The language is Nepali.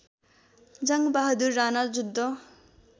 जङ्गबहादुर राणा जुद्ध